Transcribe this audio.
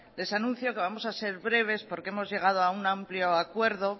les anuncio que vamos a ser breves porque hemos llegado a un amplio acuerdo